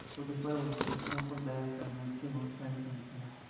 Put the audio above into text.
खुद पर और दूसरों पर दया करने के बहुत सारे तरीके हैं